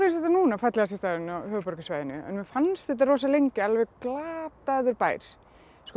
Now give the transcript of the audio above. þetta núna fallegasti staðurinn á höfuðborgarsvæðinu mér fannst þetta rosa lengi alveg glataður bær sko